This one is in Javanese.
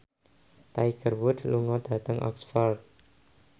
Tiger Wood lunga dhateng Oxford